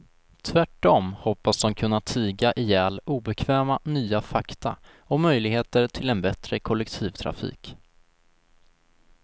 Tvärtom hoppas de kunna tiga ihjäl obekväma nya fakta om möjligheter till en bättre kollektivtrafik.